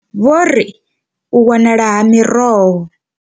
Vho ri u wanala ha miroho.